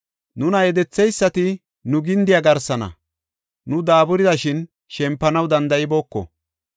Nuna yedetheysati nu gindiya garsana; nu daaburida shin shempanaw danda7ibooko.